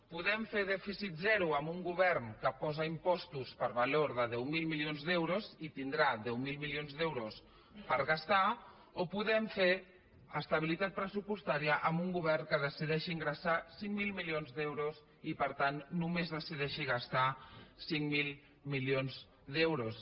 podem fer dèficit zero amb un govern que posa impostos per valor de deu mil milions d’euros i tindrà deu mil milions d’euros per gastar o podem fer estabilitat pressupostària amb un govern que decideixi ingressar cinc mil milions d’euros i per tant només decideixi gastar cinc mil milions d’euros